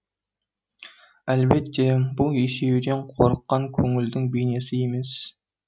әлбетте бұл есеюден қорыққан көңілдің бейнесі емес